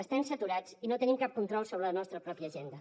estem saturats i no tenim cap control sobre la nostra pròpia agenda